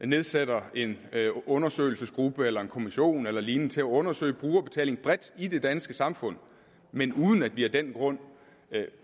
nedsætter en undersøgelsesgruppe eller en kommission eller lignende til at undersøge brugerbetaling bredt i det danske samfund men uden at vi af den grund